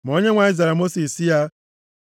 Ma Onyenwe anyị zara Mosis sị ya,